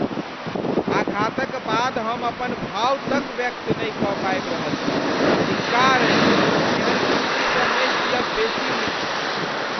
आघातक बाद हम अपन भाव तक व्यक्त नहि कऽ पाबि रहल छी। धिक्कार अछि, एहन जिनगीसँ नहि जीयब बेसी नीक।